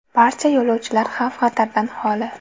Barcha yo‘lovchilar xavf-xatardan xoli.